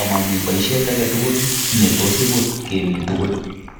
amami biisiet age tugul ne tos ibut kemi tugul.